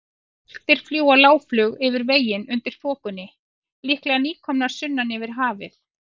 Álftir fljúga lágflug yfir veginn undir þokunni, líklega nýkomnar sunnan yfir hafið.